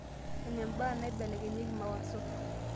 enembaa naibelekenyieki mawaso